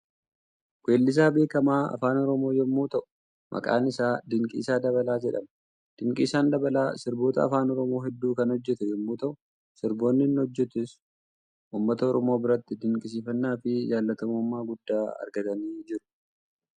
Weellisaa beekamaa afaan Oromoo yommuu ta'u maqaan isaa Dinqiisaa Dabalaa jedhama. Dinqiisaan Dabalaa sirboota afaan Oromoo hedduu kan hojjete yommuu ta'u sirboonni inni hojjetes uummata Oromoo biratti dinqisiifannaa fi jaallatamummaa guddaa argatanii jiru.